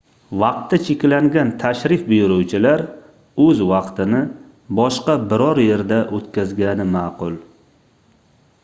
vaqti cheklangan tashrif buyuruvchilar oʻz vaqtini boshqa biror yerda oʻtkazgani maʼqul